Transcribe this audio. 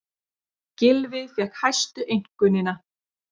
Gylfi fékk hæstu einkunnina